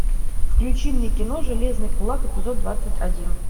включи мне кино железный кулак эпизод двадцать один